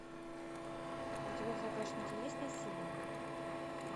у тебя в загашнике есть насилие